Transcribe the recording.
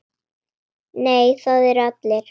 Nei, það eru allir.